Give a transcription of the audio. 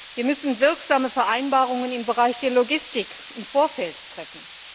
Wir müssen wirksame Vereinbarungen im Bereich der Logistik im Vorfeld treffen.